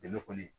Dɛmɛ kɔni